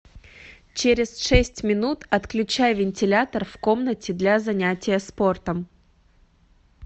через шесть минут отключай вентилятор в комнате для занятия спортом